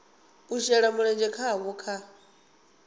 u shela mulenzhe havho kha